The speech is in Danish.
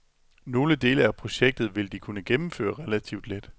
Nogle dele af projektet vil de kunne gennemføre relativt let.